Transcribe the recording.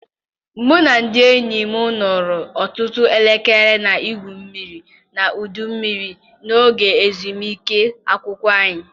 Mụ na ndị enyi m nọrọ ọtụtụ elekere na-egwu mmiri na ọdụ mmiri n'oge ezumike akwụkwọ anyị.